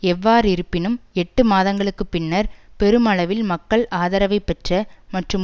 எவ்வாறிருப்பினும் எட்டு மாதங்களுக்கு பின்னர் பெருமளவில் மக்கள் ஆதரவை பெற்ற மற்றும்